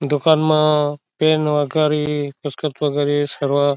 दुकान म पेन वगेरी पुस्त वगेरी सर्व--